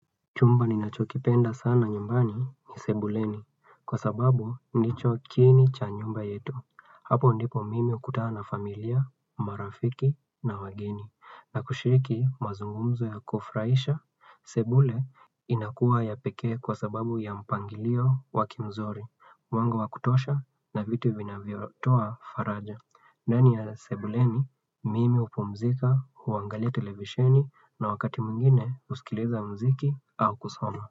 Chumba ninachokipenda sana nyumbani ni sebuleni kwa sababu ndicho kiini cha nyumba yetu. Hapo ndipo mimi hukutana na familia, marafiki na wageni. Na kushiriki mazungumzo ya kufurahisha, sebule inakuwa ya pekee kwa sababu ya mpangilio wa kimzori. Mwanga wa kutosha na vitu vinavyotoa faraja ndani ya Sebuleni, mimi hupumzika, huangalia televisheni na wakati mwingine husikiliza mziki au kusoma.